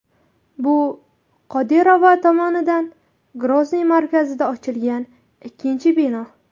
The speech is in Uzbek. Bu Qodirova tomonidan Grozniy markazida ochilgan ikkinchi bino.